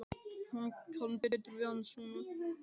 Hún kann betur við hann svona.